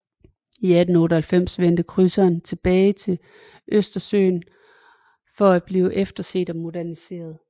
I 1898 vendte krydseren tilbage til Østersøen for at blive efterset og moderniseret